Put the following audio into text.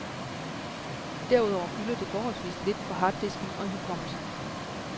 Derudover fylder det forholdsvist lidt på harddisken og i hukommelsen.